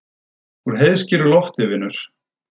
Úr heiðskíru lofti, vinur.